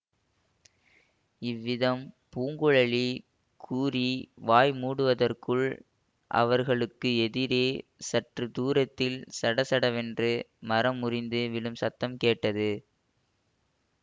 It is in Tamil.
இவ்விதம் பூங்குழலி கூறி வாய் மூடுவதற்குள் அவர்களுக்கு எதிரே சற்று தூரத்தில் சடசடவென்று மரம் முறிந்து விழும் சத்தம் கேட்டது